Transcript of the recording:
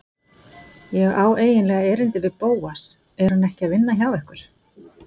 Ég á eiginlega erindi við Bóas, er hann ekki að vinna hjá ykkur?